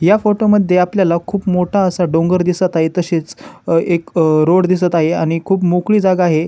या फोटो मध्ये आपल्याला खुप मोठा असा डोंगर दिसत आहे तसेच अ एक अ रोड दिसत आहे आणि खुप मोकळी जागा आहे.